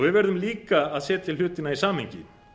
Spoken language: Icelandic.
við verðum líka að setja hlutina í samhengi